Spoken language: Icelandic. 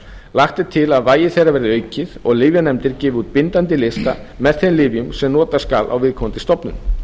lagt er til að vægi þeirra verði aukið og lyfjanefndir gefi út bindandi lista með þeim lyfjum sem nota skal á viðkomandi stofnun